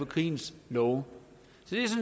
krigens love